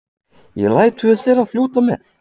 Ég læt tvö þeirra fljóta með.